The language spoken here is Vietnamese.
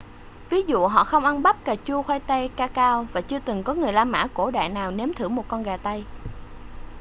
ví dụ họ không ăn bắp cà chua khoai tây ca cao và chưa từng có người la mã cổ đại nào nếm thử một con gà tây